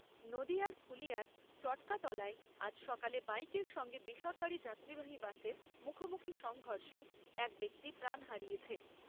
নদীয়ার ফুলিয়ার চটকাতলায় আজ সকালে বাইকের সঙ্গে বেসরকারি যাত্রীবাহী বাসের মুখোমুখি সংঘর্ষে এক ব্যক্তি প্রাণ হারিয়েছে।